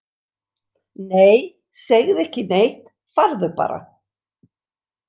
Nei, segðu ekki neitt, farðu bara.